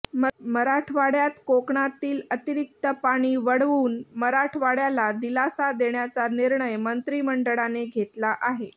मराठवाड्यात कोकणातील अतिरिक्त पाणी वळवून मराठवाड्याला दिलासा देण्याचा निर्णय मंत्रिमंडळाने घेतला आहे